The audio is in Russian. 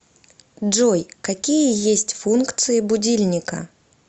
джой какие есть функции будильника